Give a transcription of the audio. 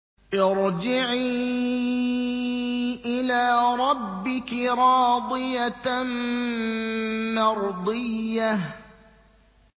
ارْجِعِي إِلَىٰ رَبِّكِ رَاضِيَةً مَّرْضِيَّةً